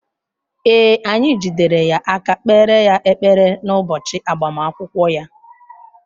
Ee, anyị jidere ya aka kpeere ya ekpere n’ụbọchị agbamakwụkwọ ya.